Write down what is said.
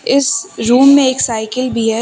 इस रूम में एक साइकिल भी है।